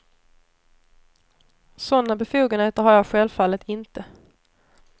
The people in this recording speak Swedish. Sådana befogenheter har jag självfallet inte.